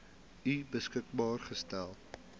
u beskikbaar gestel